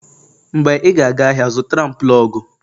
Mgbe ị ga-aga ahịa, zụtara m plọg